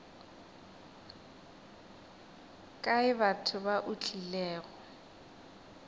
kae batho ba o tlilego